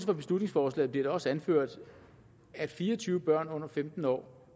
for beslutningsforslaget bliver det også anført at fire og tyve børn under femten år